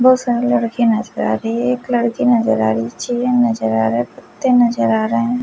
बहुत सारे लड़के नजर आ रही है एक लड़की नजर आ रही है नजर आ रहा है कुत्ते नजर आ रहे हैं।